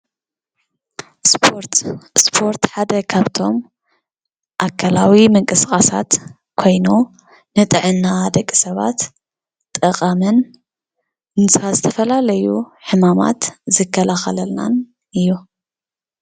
እስፖርት ሓደ ካብቶም ኣካለዊ ምንቅስቃሳት ኮይኑ ንጥዕና ደቂ ሰባት ጠቃሚን ንዝተፈላለዩ ሕማማት ዝከላኸለልናን እዩ፡፡